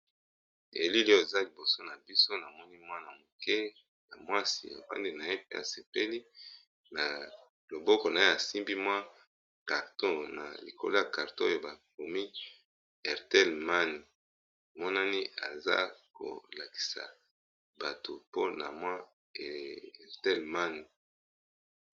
elile oza liboso na biso na moni mwa na moke ya mwasi okandi na ye pe asepeli na loboko na ye asimbi mwa carto na likolo ya carto oyo bakomi hertelmann monani aza kolakisa bato mpona mwa hertelmann